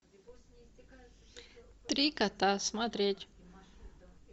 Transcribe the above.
три кота смотреть